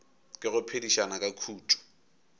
ke go phedišana ka khutšo